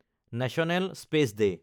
national space day